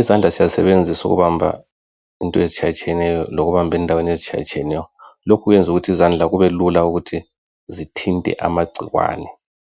Izandla siyazisebenzisa ukuhamba into ezitshiyatshiyeneyo lokubamba endaweni ezitshiyayshiyeneyo .Lokhu kwenza ukuthi izandla kubelula ukuthi zithinte amagckwane